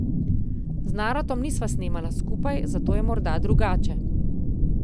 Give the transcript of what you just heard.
Z Naratom nisva snemala skupaj, zato je morda drugače.